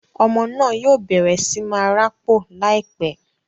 Ọmọ náà yóò bẹrẹ sí máa rapo laipẹ